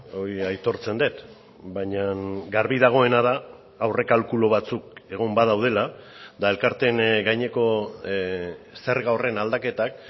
hori aitortzen dut baina garbi dagoena da aurrekalkulu batzuk egon badaudela eta elkarteen gaineko zerga horren aldaketak